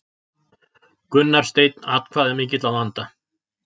Gunnar Steinn atkvæðamikill að vanda